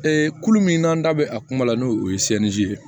kulu min n'an da bɛ a kuma la n'o ye ye